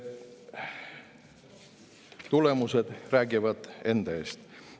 Tulemused räägivad enda eest.